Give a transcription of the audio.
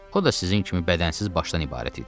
O da sizin kimi bədənsiz başdan ibarət idi.